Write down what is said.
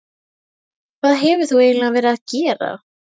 Hvað hefur þú eiginlega verið að gera?